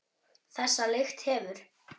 Þessa lykt hefur